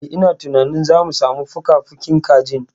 Eh, ina tunanin zamu samu fukafukin kajin.